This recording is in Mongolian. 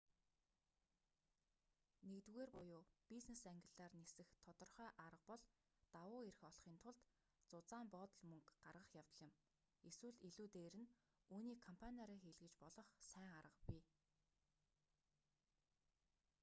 нэгдүгээр буюу бизнес ангиллаар нисэх тодорхой арга бол давуу эрх олохын тулд зузаан боодол мөнгө гаргах явдал юм эсвэл илүү дээр нь үүнийг компаниараа хийлгэж болох сайн арга бий